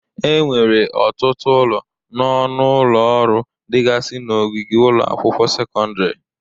Enwere ọtụtụ ụlọ na ọnụ ụlọ ọrụ dịgazị n'ogige ụlọ akwụkwọ sekọndịrị.